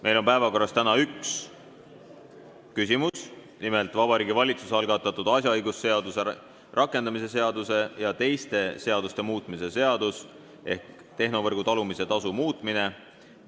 Meil on päevakorras täna üks punkt, nimelt Vabariigi Valitsuse algatatud asjaõigusseaduse rakendamise seaduse ja teiste seaduste muutmise seadus ehk tehnovõrgu talumise tasu muutmine.